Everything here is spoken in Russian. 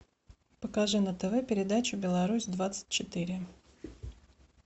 покажи на тв передачу беларусь двадцать четыре